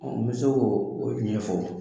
Ɔ n bɛ se k'o o ɲɛfɔ